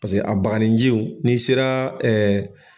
Paseke a bakanijiw n'i sera